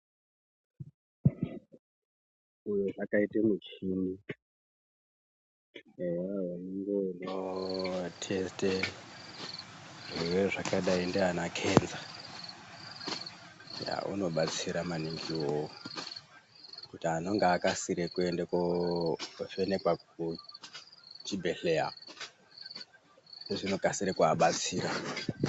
Uyozvaakaitei muchini eya unenge uno testa zvirwere zvakadai ndiana kenza yaa inobatsira maningi iwowo kuti anonga akasire kuende kovhenekwa kuchibhedhlera zvinokasire kuvabatsira.